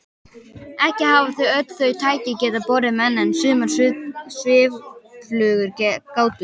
Ekki hafa öll þau tæki getað borið menn en sumar svifflugur gátu það.